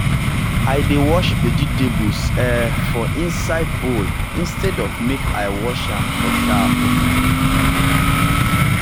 i dey wash vegetables um for inside bowl instead of make i wash am for tap.